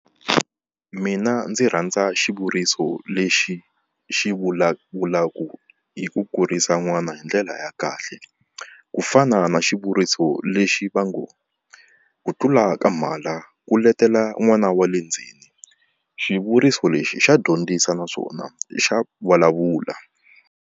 Mina ndzi rhandza xivuriso lexi xi vulavulaka hi ku kurisa n'wana hi ndlela ya kahle ku fana na xivuriso lexi va ngo, ku tlula ka mhala ku letela n'wana wa le ndzeni. Xivuriso lexi xa dyondzisa naswona xa vulavula.